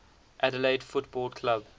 adelaide football club